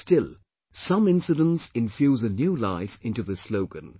Still, some incidents infuse a new life into this slogan